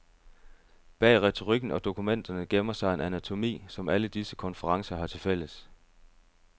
Bag retorikken og dokumenterne gemmer sig en anatomi, som alle disse konferencer har til fælles.